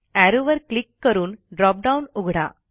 arrow वर click करून dropdown उघडा